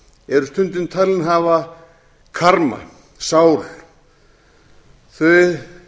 eru stundum talin hafa karma sál þau